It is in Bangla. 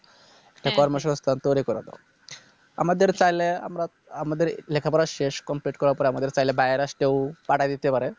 একটা কর্মসংস্থান তৈরী করা দরকার আমাদের চাইলে আমরা আমাদের লেখাপড়া শেষ Complete করার পরে আমাদের চাইলে বাহিরের রাষ্ট্রেও পাঠিয়ে দিতে পারে